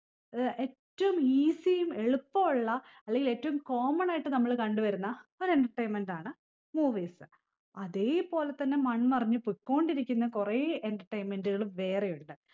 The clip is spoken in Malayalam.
ഏർ എറ്റും easy യും എളുപ്പവു ഉള്ള അല്ലെങ്കില് ഏറ്റവും common ആയിട്ട് നമ്മള് കണ്ട് വരുന്ന ഒരു entertainment ആണ് movies അതേ പോലെ തന്നെ മൺമറഞ്ഞ് പൊക്കോണ്ടിരിക്കുന്ന കൊറേ entertainment കള് വേറെ ഉണ്ട്